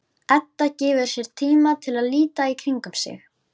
Edda gefur sér tíma til að líta í kringum sig.